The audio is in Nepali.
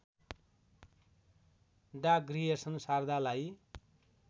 डा ग्रियर्सन शारदालाई